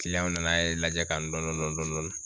na ye ka lajɛ kan dɔɔnin dɔɔnin